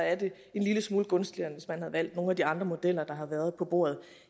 er det en lille smule gunstigere end hvis man havde valgt nogle af de andre modeller der har været på bordet